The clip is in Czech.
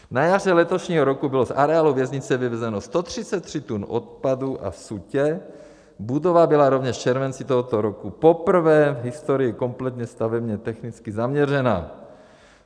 Na jaře letošního roku bylo z areálu věznice vyvezeno 133 tun odpadu a sutě, budova byla rovněž v červenci tohoto roku poprvé v historii kompletně stavebně technicky zaměřena.